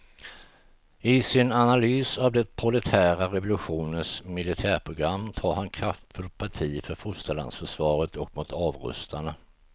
I sin analys av den proletära revolutionens militärprogram tar han kraftfullt parti för fosterlandsförsvaret och mot avrustarna.